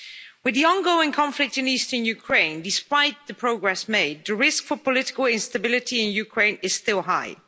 With the ongoing conflict in eastern Ukraine, despite the progress made, the risk for political instability in Ukraine is still high.